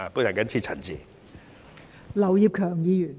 我謹此陳辭。